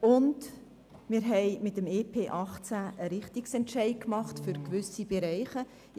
Und wir haben mit dem EP 2018 einen Richtungsentscheid für gewisse Bereiche getroffen.